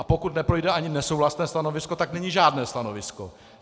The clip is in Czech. A pokud neprojde ani nesouhlasné stanovisko, tak není žádné stanovisko.